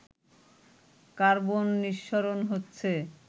carbon নিঃসরণ হচ্ছে